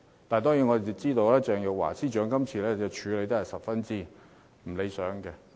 當然，我們知道鄭若驊司長今次處理得十分不理想。